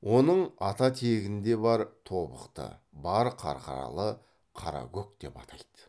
оның ата тегін де бар тобықты бар қарқаралы қаракөк деп атайды